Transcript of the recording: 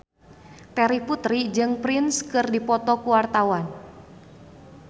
Terry Putri jeung Prince keur dipoto ku wartawan